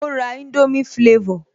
Ó ra indomie flavor